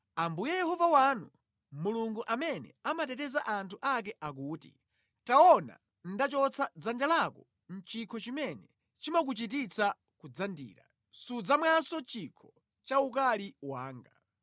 Ambuye Yehova wanu, Mulungu amene amateteza anthu ake akuti, “Taona, ndachotsa mʼdzanja lako chikho chimene chimakuchititsa kudzandira; sudzamwanso chikho cha ukali wanga.